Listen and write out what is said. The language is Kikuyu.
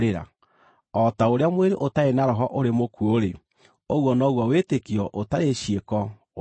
O ta ũrĩa mwĩrĩ ũtarĩ na roho ũrĩ mũkuũ-rĩ, ũguo noguo wĩtĩkio ũtarĩ ciĩko ũrĩ mũkuũ.